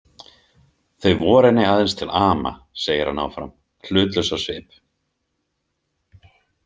Þau voru henni aðeins til ama, segir hann áfram, hlutlaus á svip.